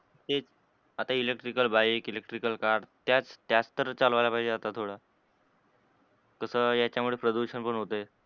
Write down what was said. तेच आता electrical bike, electrical car त्याच त्याच तर चालवायला पाहिजे आता थोड तस याच्या मुळे प्रदूषण पण होते.